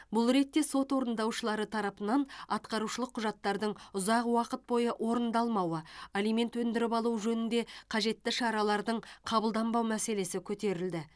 бұл ретте сот орындаушылары тарапынан атқарушылық құжаттардың ұзақ уақыт бойы орындалмауы алимент өндіріп алу жөнінде қажетті шаралардың қабылданбау мәселесі көтерілді